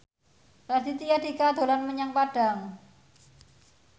Raditya Dika dolan menyang Padang